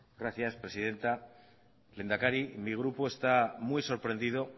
gracias presidenta lehendakari mi grupo está muy sorprendido